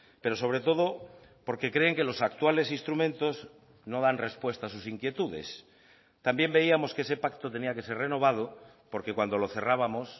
pero sobre todo porque creen que los actuales instrumentos no dan respuesta a sus inquietudes también veíamos que ese pacto tenía que ser renovado porque cuando lo cerrábamos